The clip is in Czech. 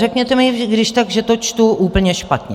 Řekněte mi když tak, že to čtu úplně špatně.